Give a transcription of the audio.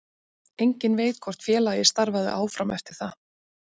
Enginn veit hvort félagið starfaði áfram eftir það.